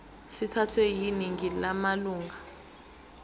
sithathwe yiningi lamalunga